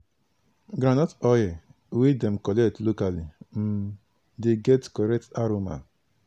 groundnut oil wey dem collect locally um dey get correct aroma